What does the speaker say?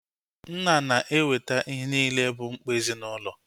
Nna na-eweta ihe niile bụ mkpa ezinaụlọ